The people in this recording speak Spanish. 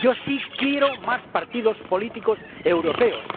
Yo sí quiero más partidos políticos europeos.